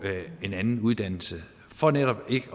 en anden uddannelse for netop ikke